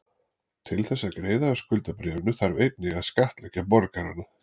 Til þess að greiða af skuldabréfinu þarf einnig að skattleggja borgarana.